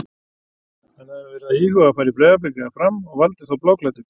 Hann hafði verið að íhuga að fara í Breiðablik eða Fram og valdi þá bláklæddu.